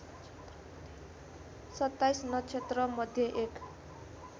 २७ नक्षत्रमध्ये एक